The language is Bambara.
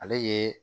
Ale ye